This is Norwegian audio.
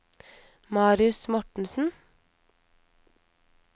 Marius Mortensen